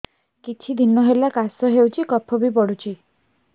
କିଛି ଦିନହେଲା କାଶ ହେଉଛି କଫ ବି ପଡୁଛି